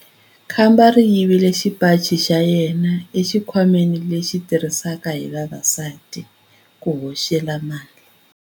Khamba ri yivile xipaci xa yena exikhwameni lexi xi tirhisiwaka hi vavasati ku hoxela mali.